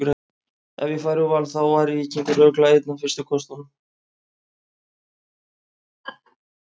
Ef ég færi úr Val þá væri Víkingur örugglega einn af fyrstu kostum.